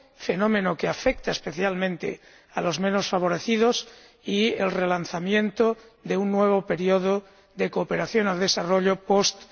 fenómeno que afecta especialmente a los menos favorecidos, y el relanzamiento de un nuevo período de cooperación al desarrollo post